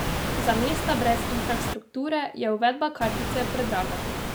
Za mesta brez infrastrukture je uvedba kartice predraga.